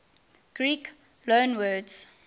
greek loanwords